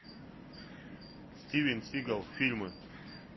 стивен сигал фильмы